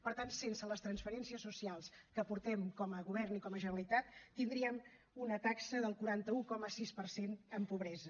per tant sense les transferències socials que aportem com a govern i com a generalitat tindríem una taxa del quaranta un coma sis per cent en pobresa